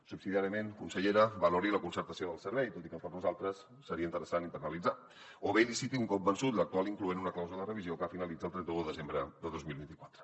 subsidiàriament consellera valori la concertació del servei tot i que per nosaltres seria interessant internalitzar o bé liciti un cop vençut l’actual incloent una clàusula de revisió que finalitza el trenta un de desembre de dos mil vint quatre